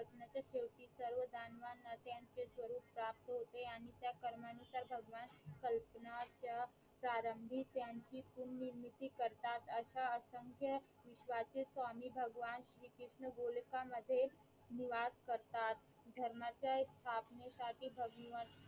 प्रारंभी त्यांची पुर्निर्मिती करतात असा असंख्य विश्वासीत स्वामी भगवान श्री कृष्ण गोलका मध्ये निवास करतात. धर्माच्या स्थापने साठी भगवं